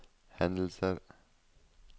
hendelser